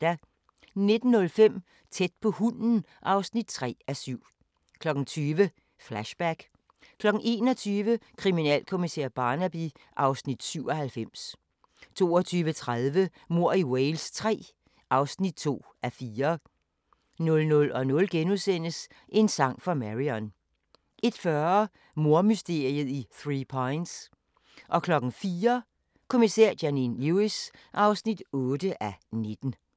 19:05: Tæt på hunden (3:7) 20:00: Flashback 21:00: Kriminalkommissær Barnaby (Afs. 97) 22:30: Mord i Wales III (2:4) 00:00: En sang for Marion * 01:40: Mordmysteriet i Three Pines 04:00: Kommissær Janine Lewis (8:19)